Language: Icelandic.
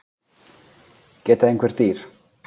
geta einhver dýr